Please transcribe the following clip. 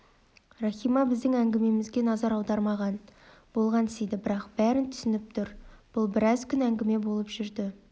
рахима біздің әңгімемізге назар аудармаған болғансиды бірақ бәрін түсініп тұр бұл біраз күн әңгіме болып жүрді